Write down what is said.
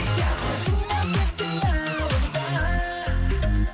қалдың ба тек қиялымда